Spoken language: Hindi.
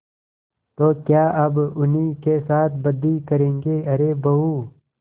तो क्या अब उन्हीं के साथ बदी करेंगे अरे बहू